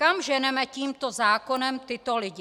Kam ženeme tímto zákonem tyto lidi?